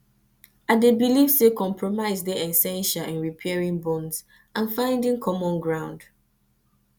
i dey believe say compromise dey essential in repairing bonds and finding common ground